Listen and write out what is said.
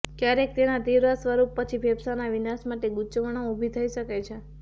ક્યારેક તેના તીવ્ર સ્વરૂપ પછી ફેફસાંના વિનાશ માટે ગૂંચવણો ઊભી થઈ શકે છે